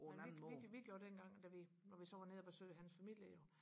vi vi vi gjorde dengang når vi så var nede og besøge hans familie jo